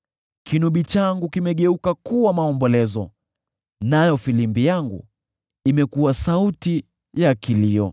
Kinubi changu kimegeuka kuwa maombolezo, nayo filimbi yangu imekuwa sauti ya kilio.